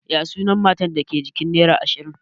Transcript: Ya sunan matar da ke jikin nera ashirin?